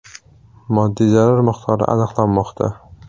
Moddiy zarar miqdori aniqlanmoqda.